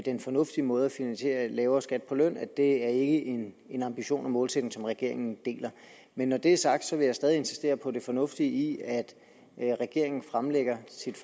en fornuftig måde at finansiere lavere skat på løn at det ikke er en målsætning som regeringen deler men når det er sagt vil jeg stadig insistere på det fornuftige i at regeringen fremlægger sit